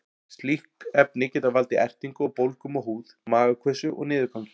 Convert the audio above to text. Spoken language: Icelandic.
Slík efni geta valdið ertingu og bólgum á húð, magakveisu og niðurgangi.